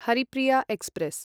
Haripriya express